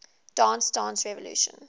dance dance revolution